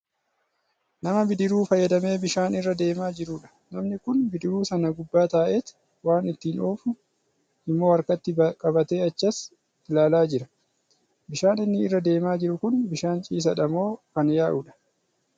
Nama bidiruu fayyadamee bishaan irra deemaa jirudha. Namni kun bidiruu sana gubbaa taa'eet waan ittiin oofu immoo harakatti qabatee achas ilaalaa jira. Bishaan inni irra deemaa jiru kun bishaan ciisaadha moo kan yaa'udh?